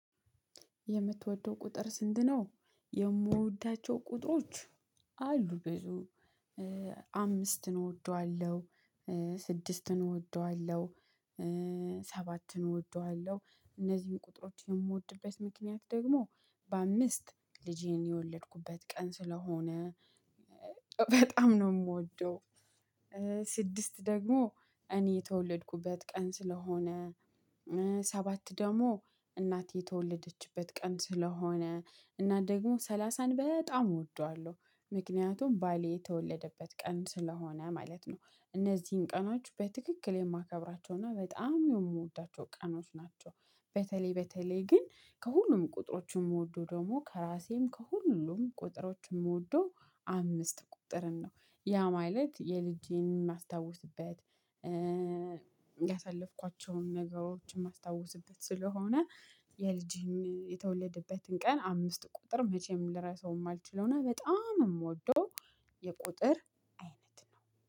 የምትወደው ቁጥር ስንት ነው? የምወዳቸው ቁጥሮች አሉ ብዙ። አምስትን እወደዋለሁ። ስድስትን እወደዋለሁ። ሰባትን እወደዋለሁ እነዚህን ቁጥሮች የምወድበት ምክንያት ደግሞ በአምስት ልጄን የወለድኩበት ቀን ስለሆነ። በጣም ነው ምወደው። ስድስት ደግሞ እኔ የተወለድኩበት ቀን ስለሆነ። ሰባት ደግሞ እናቴ የተወለደችበት ቀን ስለሆነ እና ደግሞ ሰላሳን በጣም እወደዋለሁ ምክንያቱም ባሌ የተወለደበት ቀን ስለሆነ ማለት ነው። እነዚህን ቀኖች በትክክል የማከብራቸውና በጣም የምወዳቸው ቀኖች ናቸው። በተለይ በተለይ ግን ከሁሉም ቁጥሮች ምወደው ደግሞ ከራሴም ከሁሉም ቁጥሮች ምወደው አምስት ቁጥርን ነው። ያ ማለት የልጄን የማስታውስበት ያሳለፍኳቸውን ነገሮችን ማስታወስበት ስለሆነ። የልጅህን የተወለደበትን ቀን አምስት ቁጥር መቼም ልረሳው ማልችለው እና በጣም ምወደው የቁጥር አይነት ነው